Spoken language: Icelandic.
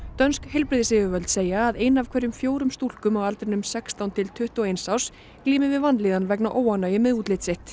dönsk heilbrigðisyfirvöld segja að ein af hverjum fjórum stúlkum á aldrinum sextán til tuttugu og eins árs glími við vanlíðan vegna óánægju með útlit sitt